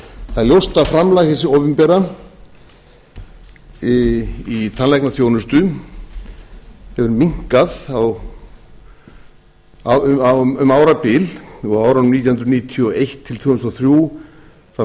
það er ljóst að framlag hins opinbera í tannlæknaþjónustu hefur minnkað um árabil á árunum nítján hundruð níutíu og eitt til tvö þúsund og þrjú þá